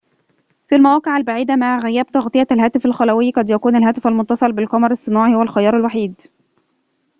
في المواقع البعيدة مع غياب تغطية الهاتف الخلوي قد يكون الهاتف المتصل بالقمر الصناعي هو الخيار الوحيد